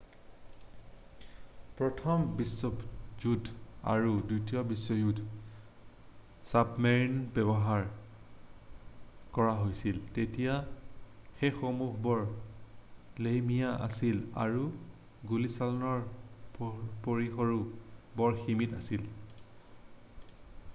প্ৰথম বিশ্বযুদ্ধৰ আৰু দ্বিতীয় বিশ্বযুদ্ধত ছাবমেৰিনৰ ব্যৱহাৰ কৰা হৈছিল তেতিয়া সেইসমূহ্হ বৰ লেহেমীয়া আছিল আৰু গুলীচালনাৰ পৰিসৰো বৰ সীমিত আছিল